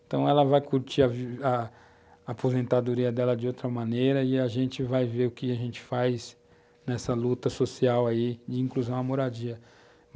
Então ela vai curtir a a aposentadoria dela de outra maneira e a gente vai ver o que a gente faz nessa luta social aí de inclusão à moradia.